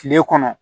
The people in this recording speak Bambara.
Kile kɔnɔ